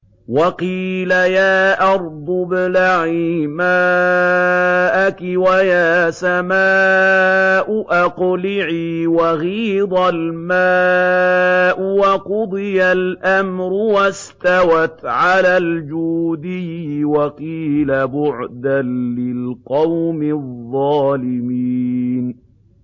وَقِيلَ يَا أَرْضُ ابْلَعِي مَاءَكِ وَيَا سَمَاءُ أَقْلِعِي وَغِيضَ الْمَاءُ وَقُضِيَ الْأَمْرُ وَاسْتَوَتْ عَلَى الْجُودِيِّ ۖ وَقِيلَ بُعْدًا لِّلْقَوْمِ الظَّالِمِينَ